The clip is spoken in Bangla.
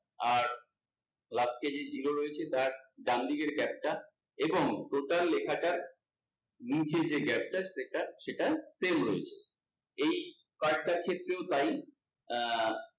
আর last এ যে zero রয়েছে তার ডানদিকের gap টা এবং total লেখাটার নিচের যে gap টা, সেটা সেটা same রয়েছে। এই card টার ক্ষেত্রেও তাই আহ